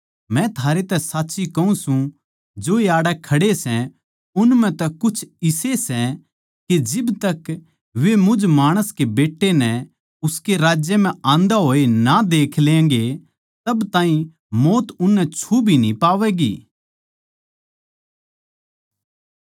मै थारे ते साच्ची कहूँ सूं जो आड़ै खड़े सै उन म्ह तै कुछ इसे सै के जिब तक वे मुझ माणस के बेट्टे नै उसके राज्य म्ह आंदे होए ना देख लेगें तब ताहीं मौत उननै छु भी न्ही पावैगी